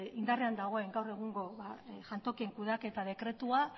indarrean dagoen gaur egungo jantokien kudeaketa dekretua